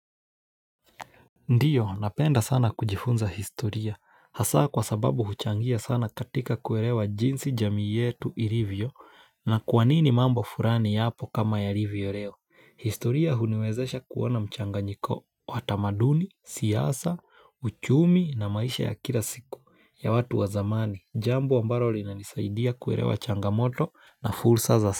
Ndiyo napenda sana kujifunza historia, hasa kwa sababu huchangia sana katika kuelewa jinsi jamii yetu ilivyo na kwanini mambo fulani yapo kama yalivyo leo. Historia huniwezesha kuona mchanganyiko watamaduni, siasa, uchumi na maisha ya kila siku ya watu wa zamani. Jambo ambalo linanisaidia kuelewa changamoto na fursa za.